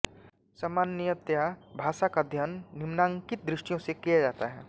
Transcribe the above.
सामान्यतया भाषा का अध्ययन निम्नांकित दृष्टियों से किया जाता है